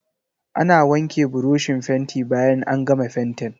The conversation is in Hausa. Ana wanke burushin fenti bayan an gama fentin.